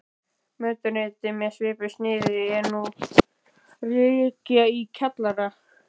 Mötuneyti með svipuðu sniði er nú rekið í kjallara